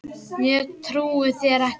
Ég trúi þér ekki.